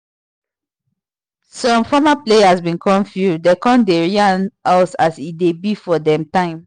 some former players been come field dem come dey yarn us as e dey be for dem time